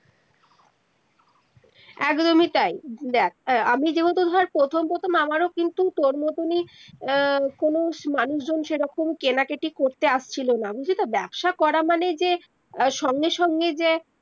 একদমি তাই দেখ আমি যিহেতু ধর প্রথম প্রথম আমারো কিন্তু তর মতো নিই আহ কোনো মানুষ জন সেইরকম কেনা কিটি করতে আসছিলনা বুঝলি তো ব্যবসা করা মানে যে সঙ্গে সঙ্গে যে